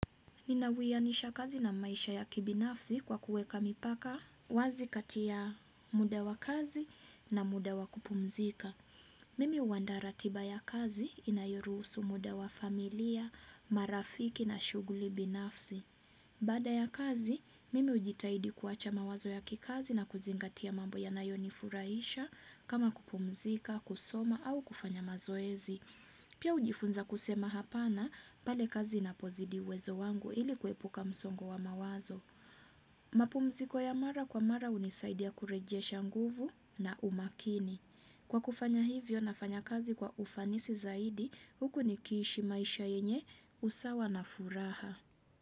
Ninawianisha kazi na maisha ya kibinafsi kwa kuweka mipaka wazi kati ya muda wa kazi na muda wa kupumzika. Mimi huandaa ratiba ya kazi inayoruhusu muda wa familia, marafiki na shughuli binafsi. Baada ya kazi, mimi hujitahidi kuwacha mawazo ya kikazi na kuzingatia mambo ya nayonifurahisha kama kupumzika, kusoma au kufanya mazoezi. Pia hujifunza kusema hapana pale kazi napozidi uwezo wangu ili kuepuka msongo wa mawazo. Mapumziko ya mara kwa mara hunisaidia kurejesha nguvu na umakini. Kwa kufanya hivyo nafanya kazi kwa ufanisi zaidi huku nikishii maisha yenye usawa na furaha.